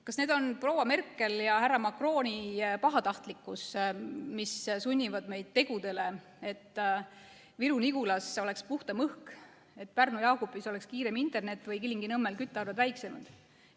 Kas need on proua Merkeli ja härra Macroni pahatahtlikkus, mis sunnivad meid tegudele, et Viru-Nigulas oleks puhtam õhk, Pärnu-Jaagupi kiirem internet või Kilingi-Nõmmel küttearved väiksemad?